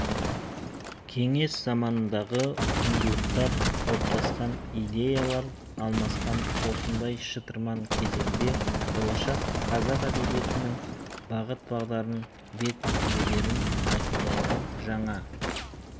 кеңес заманындағы құндылықтар қалыптасқан идеялар алмасқан осындай шытырман кезеңде болашақ қазақ әдебиетінің бағыт-бағдарын бет-бедерін айқындайтын жаңа